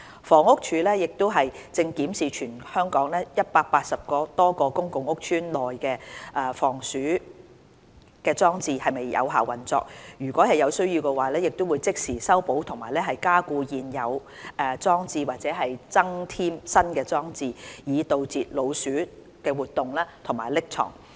房屋署亦正檢視全港180多個公共屋邨內的防鼠裝置是否有效運作，如有需要，會即時修補及加固現有裝置或增添新裝置，以阻截老鼠活動及匿藏。